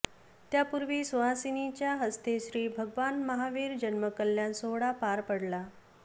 त्यापूर्वी सुहासिंनीच्या हस्ते श्री भगवान महावीर जन्म कल्याण सोहळा पार पडला